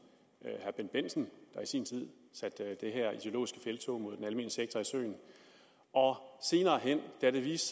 herre bendt bendtsen der i sin tid satte det her ideologiske felttog mod den almene sektor i søen og senere hen da det viste